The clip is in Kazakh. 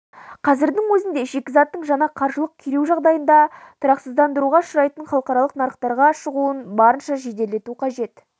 қазірдің өзінде шикізаттың жаңа қаржылық күйреу жағдайында тұрақсыздандыруға ұшырайтын халықаралық нарықтарға шығуын барынша жеделдету қажет